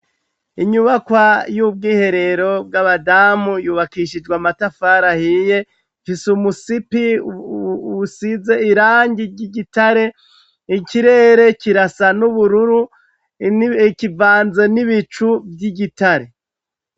Inyubakwa y'ubwiherero bw'abadamu yubakishijwe amatafar'ahiye, gisumusipi usize irangi ry'igitare ikirere kirasa n'ubururu ,kivanze n'ibicu vy'igitare.